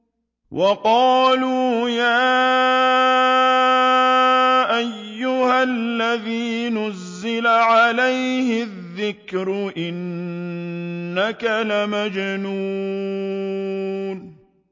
وَقَالُوا يَا أَيُّهَا الَّذِي نُزِّلَ عَلَيْهِ الذِّكْرُ إِنَّكَ لَمَجْنُونٌ